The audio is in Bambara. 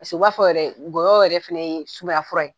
Paseke u b'a fɔ yɛrɛ ŋɔyɔ yɛrɛ fɛnɛ ye sumaya fura ye